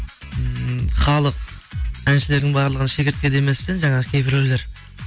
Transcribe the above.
ммм халық әншілердің барлығын шегіртке демесе жаңағы кейбіреулер